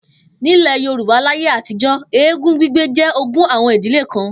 Nílè̩ Yorùbá láyé àtijó̩, eégún gbígbé jé̩ ogún àwo̩n ìdílé kan